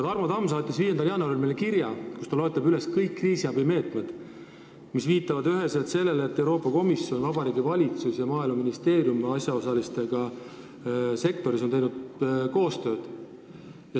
Tarmo Tamm saatis aga 5. jaanuaril meile kirja, kus ta loetleb kõik kriisiabimeetmed, mis viitavad üheselt sellele, et Euroopa Komisjon, Vabariigi Valitsus ja Maaeluministeerium on asjaosalistega sektoris koostööd teinud.